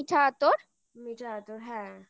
মিঠা আতর হ্যাঁ